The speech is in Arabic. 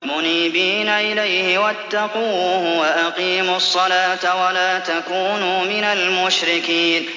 ۞ مُنِيبِينَ إِلَيْهِ وَاتَّقُوهُ وَأَقِيمُوا الصَّلَاةَ وَلَا تَكُونُوا مِنَ الْمُشْرِكِينَ